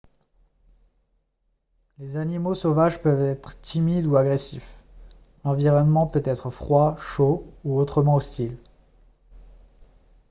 les animaux sauvages peuvent être timides ou agressifs l'environnement peut être froid chaud ou autrement hostile